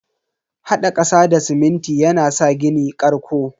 Hada kasa da siminti yana sa gini karƙo.